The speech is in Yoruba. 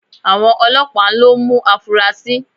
Àwọn Ọlọ́pàá ń lọ mú afurasí